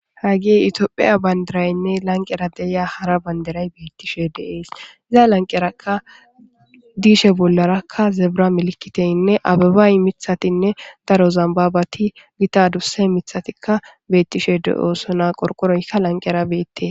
Hageyi tophphiya banidirayi laniqera diya haara banidira betishshe de'es.iza laniqerakka dishshe bollarakka zebira milikiteyinne abebayi miththatinne daro zambabati Gita adusse miththatikka betishshe de'osonna .qoriqoroyi haa bagara betees.